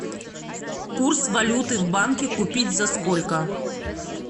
курс валюты в банке купить за сколько